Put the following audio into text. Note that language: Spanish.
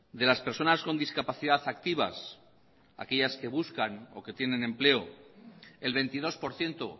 de las personas con discapacidad activas aquellas que buscan o que tienen empleo el veintidós por ciento